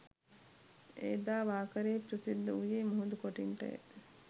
එදා වාකරේ ප්‍රසිද්ධ වූයේ මුහුදු කොටින්ටය